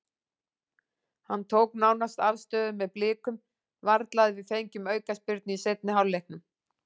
Hann tók nánast afstöðu með Blikum, varla að við fengjum aukaspyrnu í seinni hálfleiknum.